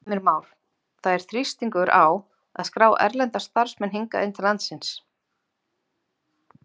Heimir Már: Það er þrýstingur á að skrá erlenda starfsmenn hingað inn til landsins?